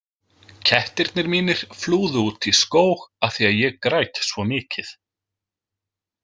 Kettirnir mínir flúðu út í skóg af því að ég græt svo mikið.